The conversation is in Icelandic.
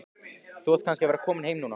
Þú átt kannski að vera kominn heim núna.